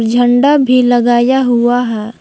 झंडा भी लगाया हुआ है।